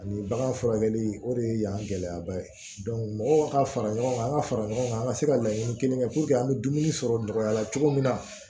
Ani bagan furakɛli o de ye yan gɛlɛyaba ye mɔgɔw ka fara ɲɔgɔn kan an ka fara ɲɔgɔn kan an ka se ka laɲini kelen kɛ an bɛ dumuni sɔrɔ nɔgɔya la cogo min na